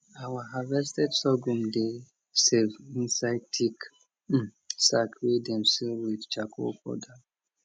our harvested sorghum dey safe inside thick sack wey dem seal with charcoal powder